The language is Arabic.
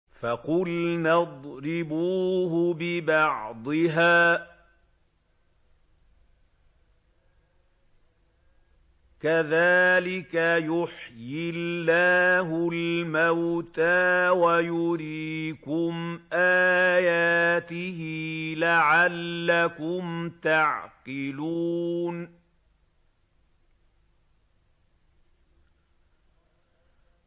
فَقُلْنَا اضْرِبُوهُ بِبَعْضِهَا ۚ كَذَٰلِكَ يُحْيِي اللَّهُ الْمَوْتَىٰ وَيُرِيكُمْ آيَاتِهِ لَعَلَّكُمْ تَعْقِلُونَ